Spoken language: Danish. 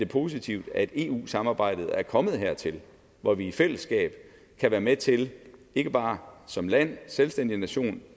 positivt at eu samarbejdet er kommet hertil hvor vi i fællesskab kan være med til ikke bare som land selvstændig nation